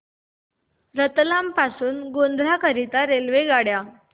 रतलाम पासून गोध्रा करीता रेल्वेगाड्या